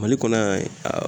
Mali kɔnɔ yan